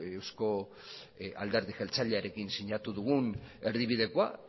eusko alderdi jeltzalearekin sinatu dugun erdibidekoa